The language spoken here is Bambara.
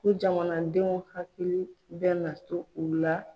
Ko jamanadenw hakili bɛ na to u la.